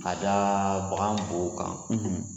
Ka da bagan bo kan.